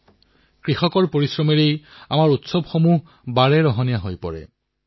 আমাৰ পৰ্ব কৃষকৰ পৰিশ্ৰমৰ দ্বাৰাই ৰঙীয়াল হৈ উঠে